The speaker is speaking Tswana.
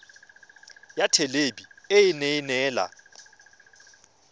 ya thelebi ene e neela